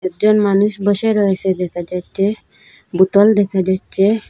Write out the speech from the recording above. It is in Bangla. একজন মানুষ বসে রয়েসে দেখা যাচ্ছে বুতল দেখা যাচ্ছে।